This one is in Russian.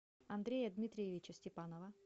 андрея дмитриевича степанова